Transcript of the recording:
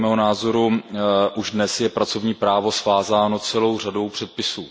Podle mého názoru už dnes je pracovní právo svázáno celou řadou předpisů.